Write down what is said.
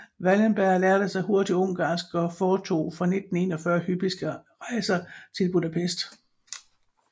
Wallenberg lærte sig hurtigt ungarsk og foretog fra 1941 hyppige rejser til Budapest